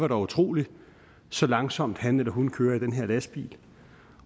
er utroligt så langsomt han eller hun kører i den her lastbil